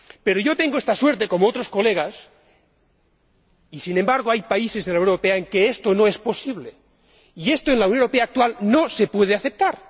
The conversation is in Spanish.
Pero yo tengo esta suerte, como otros colegas, y sin embargo hay países en la Unión Europea en que esto no es posible, y esto en la Unión Europea actual no se puede aceptar.